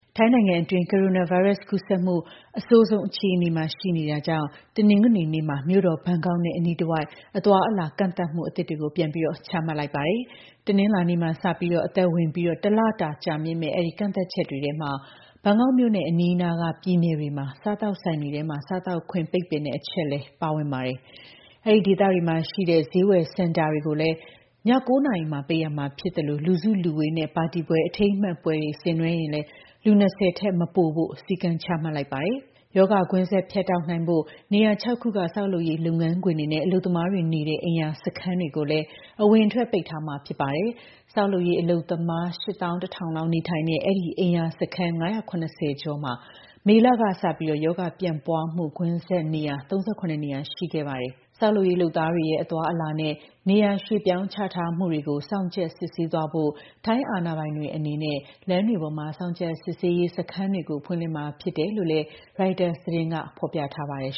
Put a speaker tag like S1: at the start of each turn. S1: ထိုင်းနိုင်ငံအတွင်း ကိုရိုနာဗိုင်းရပ်စ် ကူးစက်မှု အဆိုးဆုံး အခြေအနေမှာ ရှိနေတာကြောင့် တနင်္ဂနွေနေ့က မြို့တော်ဘန်ကောက်နဲ့ အနီးတဝိုက် အသွားအလာ ကန့်သတ်မှုအသစ်တွေ ပြန်ပြီး ချမှတ်လိုက်ပါတယ်။ တနင်္လာနေ့မှာ စတင် အသက်ဝင်ပြီး တလတာကြာမြင့်မယ့် အဲဒီ ကန့်သတ်ချက်တွေထဲ ဘန်ကောက်မြို့နဲ့ အနီးအနားက ပြည်နယ်တွေမှာ စားသောက်ဆိုင်တွေထဲ စားသောက်ခွင့် ပိတ်ပင်တဲ့ အချက်လည်း ပါဝင်ပါတယ်။ အဲဒီဒေသတွေမှာရှိတဲ့ ဈေးဝယ်စင်တာတွေလည်း ည ၉ နာရီမှာ ပိတ်ရမှာဖြစ်သလို လူစုလူဝေးနဲ့ ပါတီပွဲ၊ အထိမ်းအမှတ်ပွဲတွေ ဆင်နွှဲရင်လည်း လူ ၂၀ ထက်မပိုဖို့ စည်းကမ်းချမှတ်လိုက်တာပါ။ ရောဂါကွင်းဆက် ဖြတ်တောက်နိုင်ဖို့ နေရာ ၆ ခုက ဆောက်လုပ်ရေး လုပ်ငန်းခွင်တွေနဲ့ အလုပ်သမားတွေနေတဲ့ အိမ်ရာစခန်းတွေကိုလည်း အဝင်အထွက် ပိတ်ပင်ထားမှာ ဖြစ်ပါတယ်။ ဆောက်လုပ်ရေး အလုပ်သမား ၈၁,၀၀၀ လောက်နေထိုင်တဲ့ အဲဒီ အိမ်ရာစခန်း ၅၇၀ ကျော်မှာ မေလကစပြီး ရောဂါပြန့်ပွားမှု ကွင်းဆက်နေရာ ၃၇ နေရာ ရှိခဲ့တာပါ။ ဆောက်လုပ်ရေးလုပ်သားတွေရဲ့ အသွားအလာနဲ့ နေရာ ရွှေ့ပြောင်းချထားမှုတွေကို စောင့်ကြပ် စစ်ဆေးသွားဖို့ ထိုင်းအာဏာပိုင်တွေ အနေနဲ့ လမ်းတွေပေါ်မှာ စောင့်ကြပ်စစ်ဆေးရေး စခန်းတွေကို ဖွင့်လှစ်မှာ ဖြစ်တယ်လို့လည်း ရိုက်တာသတင်းဌာနက ဖော်ပြထားပါတယ်